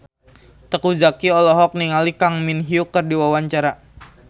Teuku Zacky olohok ningali Kang Min Hyuk keur diwawancara